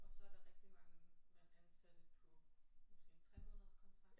Og så er der rigtig mange man ansatte på måske en tremånederskontrakt